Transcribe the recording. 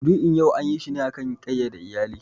Maudu'in yau anyi shi ne a kan ƙayyade iyali.